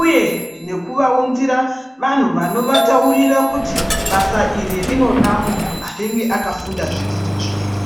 Uye nekuvaunzira vanhu vanovataurira kuti basa iri rinoda muntu anenge akafunda zvifundo zviri.